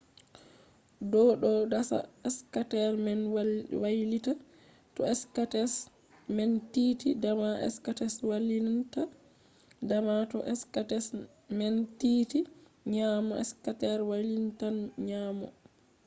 do do dasa skater man wailita. to skates man tiiti dama skater wailintan dama toh skates man tiiti nyaamo skater wailitan nyaamo